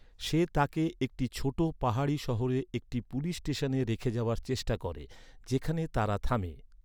সে তাকে একটি ছোট পাহাড়ি শহরে একটি পুলিশ স্টেশনে রেখে যাওয়ার চেষ্টা করে, যেখানে তারা থামে।